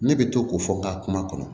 Ne bɛ to k'o fɔ n ka kuma kɔnɔ